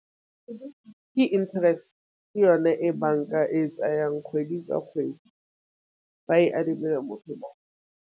Ke interest ke yone e banka e tsayang kgwedi ka kgwedi ba e adimile motho .